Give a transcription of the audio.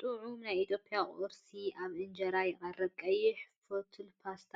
ጥዑም ናይ ኢትዮጵያ ቁርሲ ኣብ ኢንጀራ ይቐርብ። ቀይሕ ፋቱላ ፓስተ፡